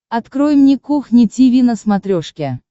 открой мне кухня тиви на смотрешке